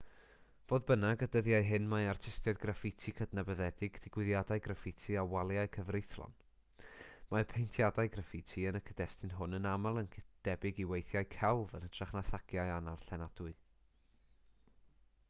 fodd bynnag y dyddiau hyn mae artistiaid graffiti cydnabyddedig digwyddiadau graffiti a waliau cyfreithlon mae paentiadau graffiti yn y cyd-destun hwn yn aml yn debyg i weithiau celf yn hytrach na thagiau annarllenadwy